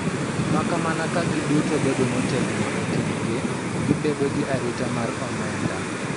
Makamana ka gitudo bedo motegno e kindgi gi bedo gi arita mar omenda.